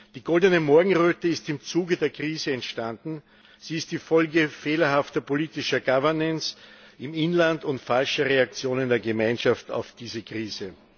Die Goldene Morgenröte ist im Zuge der Krise entstanden, sie ist die Folge fehlerhafter politischer Governance im Inland und falscher Reaktionen der Gemeinschaft auf diese Krise.